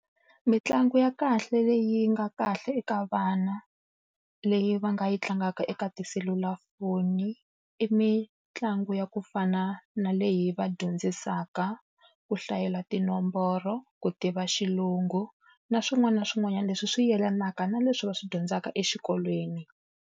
Mintlangu ya kahle leyi nga kahle eka vana leyi va nga yi tlangaka eka tiselulafoni i mitlangu ya ku fana na leyi yi va dyondzisaka ku hlayela tinomboro, ku tiva xilungu na swin'wana na swin'wanyana leswi swi yelanaka na leswi va swi dyondzaka exikolweni.